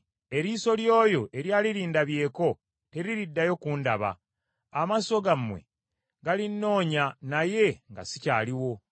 Eriiso ly’oyo eryali lindabyeko teririddayo kundaba; amaaso gammwe galinnoonya, naye nga sikyaliwo.